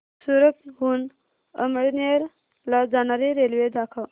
सूरत हून अमळनेर ला जाणारी रेल्वे दाखव